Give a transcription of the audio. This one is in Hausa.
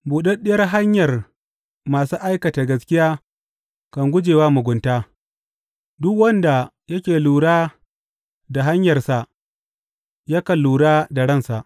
Buɗaɗɗiyar hanyar masu aikata gaskiya kan guje wa mugunta; duk wanda yake lura da hanyarsa yakan lura da ransa.